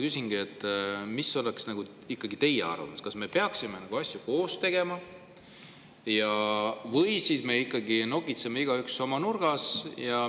Küsingi, mis oleks teie arvamus: kas me peaksime neid asju koos tegema või ikkagi nokitseme igaüks oma nurgas?